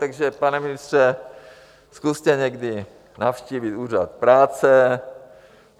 Takže pane ministře, zkuste někdy navštívit úřad práce.